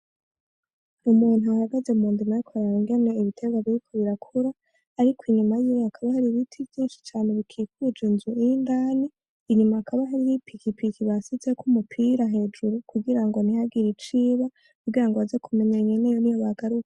Umuntu ahagaze mu ndimo ariko araraba ingene ibiterwa biriko birakura, arikw'inyuma yiwe hakaba har'ibiti vyinshi cane bikuje inzu inyuma irindani, inyuma hakaba harih' ipikipiki bashizeko umupira hejuru kugirango ntihagire iciba kugirango baze kumenya nyeneyo niyo bagaruka.